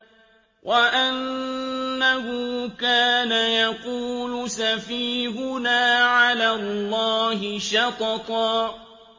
وَأَنَّهُ كَانَ يَقُولُ سَفِيهُنَا عَلَى اللَّهِ شَطَطًا